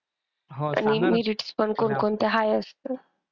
आणि merits पण कोण कोणते high असत.